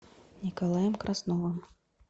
николаем красновым